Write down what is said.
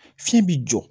Fiɲɛ bi jɔ